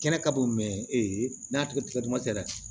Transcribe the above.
Kɛnɛ ka bon ee n'a tigɛ tigɛ dama tɛ dɛ